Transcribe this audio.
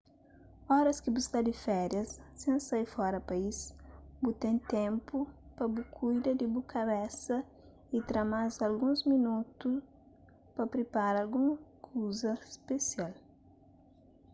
oras ki bu sta di féria sen sai fora país bu ten ténpu pa bu kuida di bu kabesa y tra más alguns minotu pa pripara algun kuza spesial